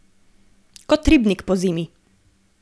Kot ribnik pozimi.